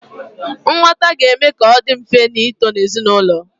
Nghọta ga-eme ka ọ dị mfe ịto ezinaụlọ.